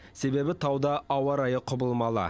себебі тауда ауа райы құбылмалы